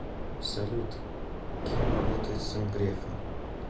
салют кем работает сын грефа